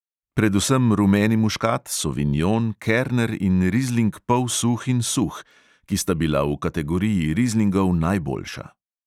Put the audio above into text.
Predvsem rumeni muškat, sovinjon, kerner in rizling polsuh in suh, ki sta bila v kategoriji rizlingov najboljša.